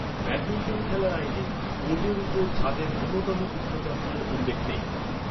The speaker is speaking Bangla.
ব্যাডমিন্টন খেলার আইনে কোর্টের উপরে ছাদের ন্যূনতম উচ্চতার কোনও উল্লেখ নেই।